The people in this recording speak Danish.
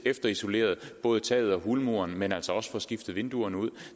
efterisoleret både taget og hulmuren men altså også får skiftet vinduerne ud